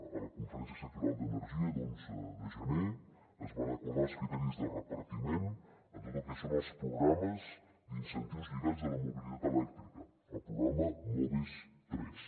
a la conferència sectorial d’energia d’onze de gener es van acordar els criteris de repartiment en tot el que són els programes d’incentius lligats a la mobilitat elèctrica el programa moves iii